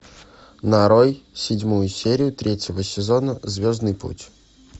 нарой седьмую серию третьего сезона звездный путь